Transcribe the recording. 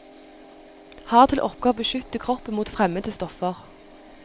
Har til oppgave å beskytte kroppen mot fremmede stoffer.